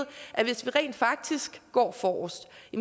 at hvis vi rent faktisk går forrest